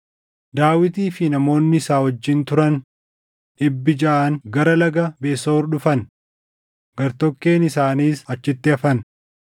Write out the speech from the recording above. Daawitii fi namoonni isa wajjin turan dhibbi jaʼan gara Laga Besoor dhufan; gartokkeen isaaniis achitti hafan.